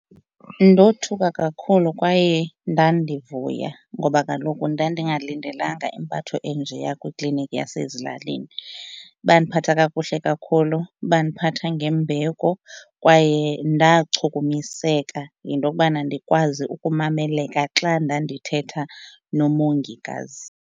Ndothuka kakhulu kwaye ndandivuya ngoba kaloku ndandingalindelanga impatho enjeya kwikliniki yasezilalini. Bandiphatha kakuhle kakhulu bandiphatha ngembeko kwaye ndachukumiseka yinto yokubana ndikwazi ukumameleka xa ndandithetha nomongikazi.